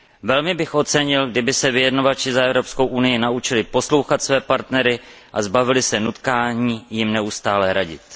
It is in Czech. Velmi bych ocenil, kdyby se vyjednavači za Evropskou unii naučili poslouchat své partnery a zbavili se nutkání jim neustále radit.